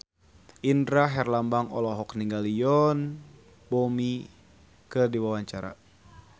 Indra Herlambang olohok ningali Yoon Bomi keur diwawancara